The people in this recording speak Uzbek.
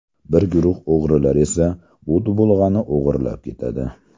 Bir guruh o‘g‘rilar esa bu dubulg‘ani o‘g‘irlab ketadi.